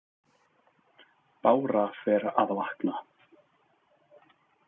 Bára fer að vakna.